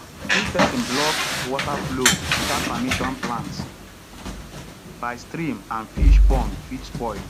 if person blocks water flow without permission plants by stream and fish pond fit spoil